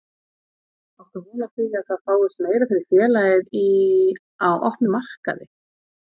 Áttu von á því að það fáist meira fyrir félagið í, á opnum markaði?